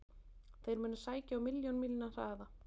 Þeir munu sækja á milljón mílna hraða.